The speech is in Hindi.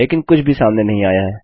लेकिन कुछ भी सामने नहीं आया है